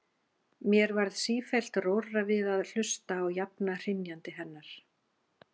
Mér varð sífellt rórra við að hlusta á jafna hrynjandi hennar.